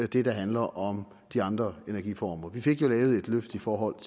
det der handler om de andre energiformer vi fik jo lavet et løft i forhold